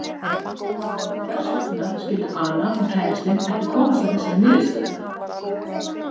Og hvers vegna skyldu Ana og kærastinn ekki komast að þessari niðurstöðu?